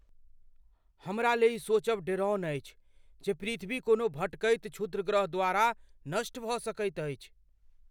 हमरा लेल ई सोचब डेराओन अछि जे पृथ्वी कोनो भटकैत क्षुद्रग्रह द्वारा नष्ट भऽ सकैत अछि।